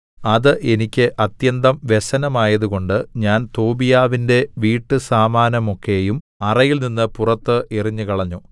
അത് എനിക്ക് അത്യന്തം വ്യസനമായതുകൊണ്ട് ഞാൻ തോബീയാവിന്റെ വീട്ടുസാമാനമൊക്കെയും അറയിൽനിന്ന് പുറത്ത് എറിഞ്ഞുകളഞ്ഞു